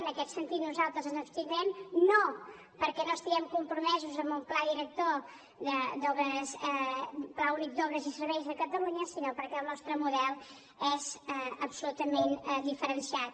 en aquest sentit nosaltres ens hi abstindrem no perquè no estiguem compromesos amb un pla únic d’obres i serveis de catalunya sinó perquè el nostre model és absolutament diferenciat